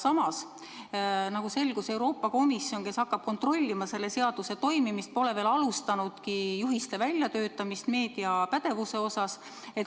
Samas selgus, et Euroopa Komisjon, kes hakkab kontrollima selle seaduse toimimist, pole meediapädevuse kohta juhiste väljatöötamist veel alustanud.